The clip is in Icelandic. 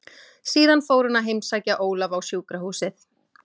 Síðan fór hún að heimsækja Ólaf á sjúkrahúsið.